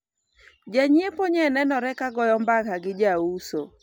janyiepo nye nenore ka goyo mbaka gi jauso